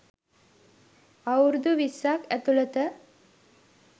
අවුරුදු විස්සක් ඇතුළත